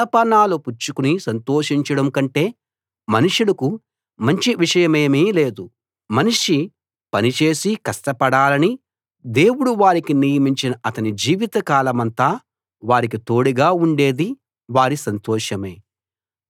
అన్నపానాలు పుచ్చుకుని సంతోషించడం కంటే మనుషులకు మంచి విషయమేమీ లేదు మనిషి పని చేసి కష్టపడాలని దేవుడు వారికి నియమించిన అతని జీవిత కాలమంతా వారికి తోడుగా ఉండేది వారి సంతోషమే